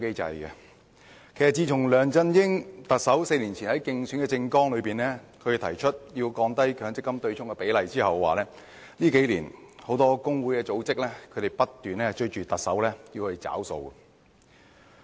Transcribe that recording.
自從特首梁振英4年前在競選政綱中提出降低強積金對沖比例之後，很多工會組織數年來不斷要求特首"找數"。